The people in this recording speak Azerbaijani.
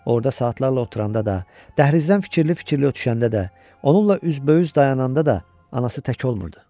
Orda saatlarla oturanda da, dəhlizdən fikirli-fikirli ötüşəndə də, onunla üzbəüz dayananda da anası tək olmurdu.